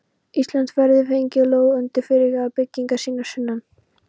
Íslands verði fengin lóð undir fyrirhugaðar byggingar sínar sunnan